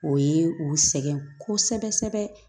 O ye u sɛgɛn kosɛbɛ kosɛbɛ